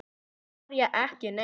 María: Ekki neitt.